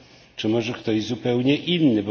Czy może ktoś zupełnie inny?